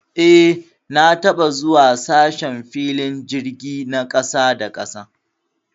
Eh, na taba zuwa sashen filin jirgi na kasa da kasa.